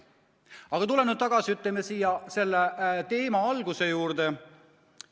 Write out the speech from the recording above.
Aga tulen tagasi selle teema alguse juurde.